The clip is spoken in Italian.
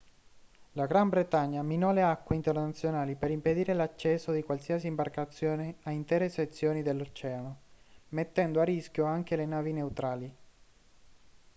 la gran bretagna minò le acque internazionali per impedire l'accesso di qualsiasi imbarcazione a intere sezioni dell'oceano mettendo a rischio anche le navi neutrali